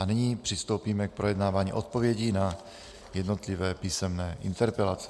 A nyní přistoupíme k projednávání odpovědi na jednotlivé písemné interpelace.